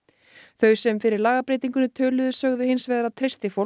þau sem fyrir lagabreytingunni töluðu sögðu hins vegar að treysti fólk